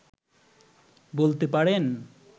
বলতে পারেন